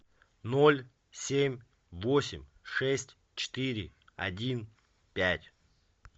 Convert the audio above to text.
ноль семь восемь шесть четыре один пять